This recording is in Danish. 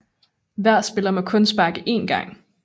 Hver spiller må kun sparke én gang